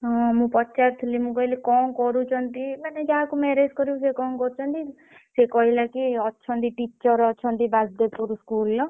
ହଁ ମୁଁ ପଚାରୁଥିଲି ମୁଁ କହିଲି କଣ କରୁଛନ୍ତି ମାନେ ଯାହାକୁ marriage କରିବୁ ସେ କଣ କରୁଛନ୍ତି ସେ କହିଲା କି ଅଛନ୍ତି teacher ଅଛନ୍ତି ବାଜପୁର school ର।